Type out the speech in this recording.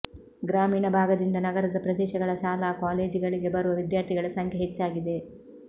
ಗ್ರಾಮೀಣ ಭಾಗದಿಂದ ನಗರದ ಪ್ರದೇಶಗಳ ಶಾಲಾ ಕಾಲೇಜುಗಳಿಗೆ ಬರುವ ವಿದ್ಯಾರ್ಥಿಗಳ ಸಂಖ್ಯೆ ಹೆಚ್ಚಾಗಿದೆ